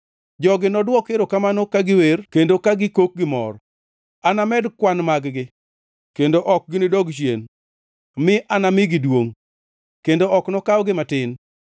Jogi nodwok erokamano ka giwer kendo ka gikok gi mor. Anamed kwan mag-gi, kendo ok ginidog chien; mi anamigi duongʼ, kendo ok nokawgi matin.